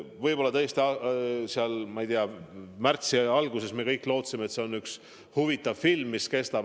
Võib-olla tõesti, ma ei tea, märtsi alguses me kõik lootsime, et see on lihtsalt üks huvitav film, mida näidatakse.